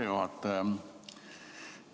Hea juhataja!